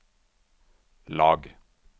lag